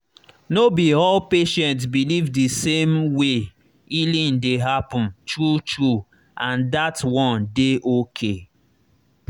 no be all patient believe the same way healing dey happen true true—and that one dey okay.